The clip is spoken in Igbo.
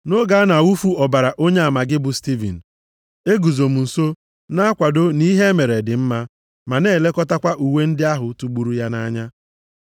Nʼoge a na-awụfu ọbara onyeama gị bụ Stivin, eguzo m nso na-akwado nʼihe emere dị mma, ma na-elekọtakwa uwe ndị ahụ tụgburu ya anya.’